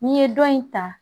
N'i ye dɔ in ta